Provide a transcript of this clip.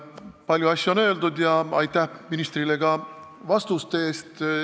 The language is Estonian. Palju asju on öeldud ja aitäh ministrile ka vastuste eest.